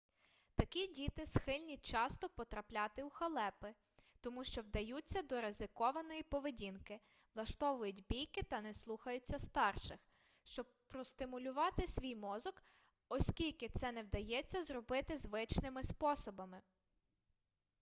такі діти схильні часто потрапляти у халепи тому що вдаються до ризикованої поведінки влаштовують бійки та не слухаються старших щоб простимулювати свій мозок оскільки це не вдається зробити звичними способами